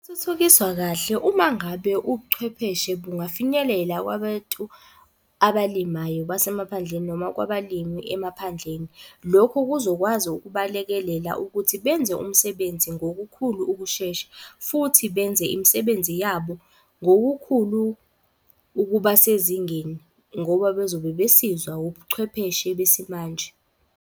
Kahle uma ngabe ubuchwepheshe bungafinyelela kwabatu abalimayo basemaphandleni noma kwabalimi emaphandleni. Lokhu kuzokwazi ukubalekelela ukuthi benze umsebenzi ngokukhulu ukushesha. Futhi benze imisebenzi yabo ngokukhulu ukuba sezingeni ngoba bezobe besizwa ubuchwepheshe besimanje.